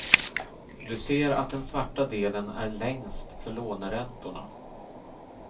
Du ser att den svarta delen är längst för låneräntorna.